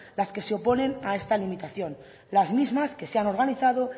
las que se oponen a esta limitación las mismas que se han organizado